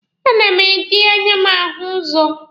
A na m eji anya m ahụ ụzọ.